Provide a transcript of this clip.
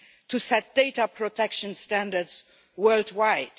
to set data protection standards worldwide.